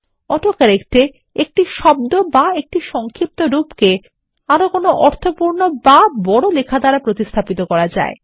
auto correct এএকটি শব্দঅথবা একটি সংক্ষিপ্তরূপকে আরো কোনো অর্থপূর্ণ বা বড় লেখা দ্বারা প্রতিস্থাপিত করা যায়